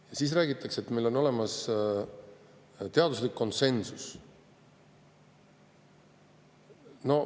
Ja siis räägitakse, et meil on olemas teaduslik konsensus.